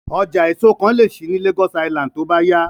Ọjà èso kan lè ṣí ní Lagos Island tó bá yá